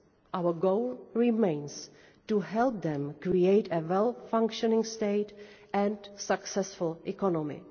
Our goal remains to help them create a well functioning state and a successful economy.